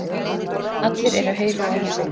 Allir eru heilir á húfi.